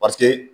Paseke